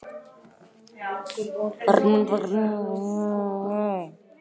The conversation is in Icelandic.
Eyþóra, hvernig er veðrið í dag?